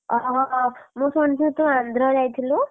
ମୁଁ ଶୁଣିଥିଲି ତୁ ଆନ୍ଧ୍ର ଯାଇଥିଲୁ?